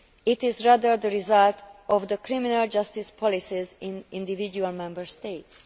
it is rather the result of the criminal justice policies in individual Member States.